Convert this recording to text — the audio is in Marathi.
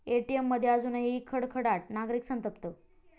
एटीएममध्ये अजूनही खडखडाट, नागरिक संतप्त